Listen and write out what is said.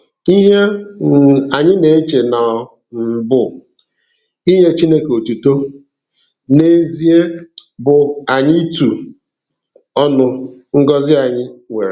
Ihe um anyị na-eche na ọ um bụ inye Chineke otuto, n'ezie bụ anyị itu ọnụ ngọzi anyị nwere.